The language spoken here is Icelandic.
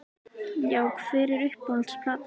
Já Hver er uppáhalds platan þín?